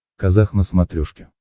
казах на смотрешке